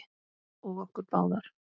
Og okkur báðar.